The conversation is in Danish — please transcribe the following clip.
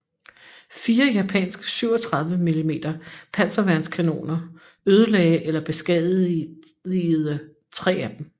Fire japanske 37 mm panserværnskanoner ødelagde eller beskadigede 3 af dem